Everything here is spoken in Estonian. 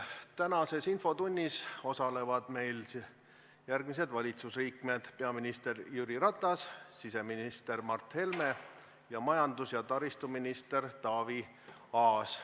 Tänases infotunnis osalevad järgmised valitsusliikmed: peaminister Jüri Ratas, siseminister Mart Helme ning majandus- ja taristuminister Taavi Aas.